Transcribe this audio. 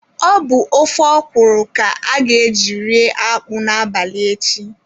Ọ bụ ofe ọkwụrụ ka a ga-eji rie akpụ a n'abalị echi.